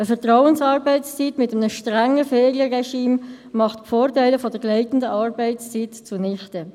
Eine Vertrauensarbeitszeit mit einem strengen Ferienregime macht die Vorteile der gleitenden Arbeitszeit zunichte.